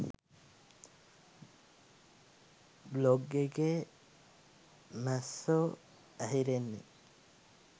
Blog එකේ මැස්සො ඇහිරෙන්නෙ?